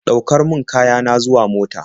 Ɗaukar min kaya na zuwa mota.